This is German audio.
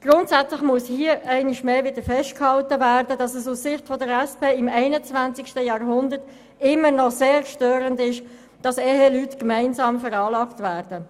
Grundsätzlich muss hier einmal mehr festgehalten werden, dass es aus Sicht der SP-JUSO-PSA-Fraktion im 21. Jahrhundert immer noch sehr stört, dass Eheleute gemeinsam veranlagt werden.